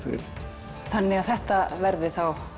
þannig að þetta verði